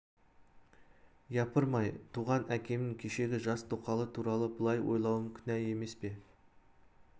япырмай туған әкемнің кешегі жас тоқалы туралы былай ойлауым күнә еме пе